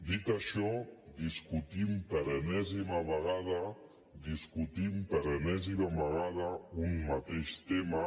dit això discutim per enèsima vegada discutim per enèsima vegada un mateix tema